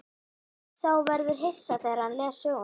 Sá verður hissa þegar hann les söguna.